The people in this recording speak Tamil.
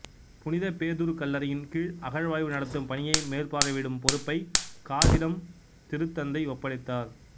புனித பேதுரு கல்லறையின் கீழ் அகழாய்வு நடத்தும் பணியை மேற்பார்வையிடும் பொறுப்பைக் காசிடம் திருத்தந்தை ஒப்படைத்தார்